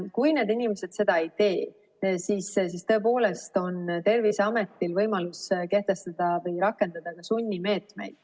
Kui need inimesed seda ei tee, siis tõepoolest on Terviseametil võimalus kehtestada ja ka rakendada sunnimeetmeid.